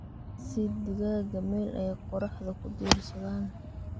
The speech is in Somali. Sii digaagga meel ay qorraxda ku diirsadaan.